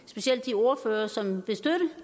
specielt de ordførere som vil støtte